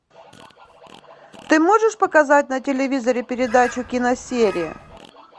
ты можешь показать на телевизоре передачу киносерия